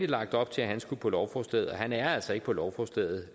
lagt op til skulle på lovforslaget men han er altså ikke på lovforslaget